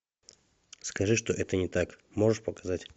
скажи что это не так можешь показать